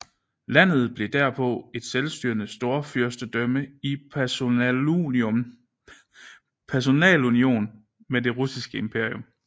Landet blev derpå et selvstyrende storfyrstendømme i personalunion med det russiske imperium